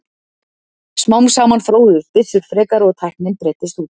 Smám saman þróuðust byssur frekar og tæknin breiddist út.